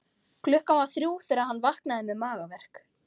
Klukkan var þrjú þegar hann vaknaði með magaverk.